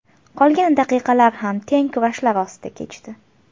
Qolgan daqiqalar ham teng kurashlar ostida kechdi.